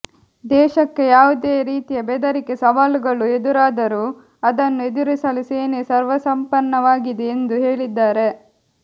ದೇಶಕ್ಕೆ ಯಾವುದೇ ರೀತಿಯ ಬೆದರಿಕೆ ಸವಾಲುಗಳು ಎದುರಾದರೂ ಅದನ್ನು ಎದುರಿಸಲು ಸೇನೆ ಸರ್ವಸನ್ನದ್ಧವಾಗಿದೆ ಎಂದು ಹೇಳಿದ್ದಾರೆ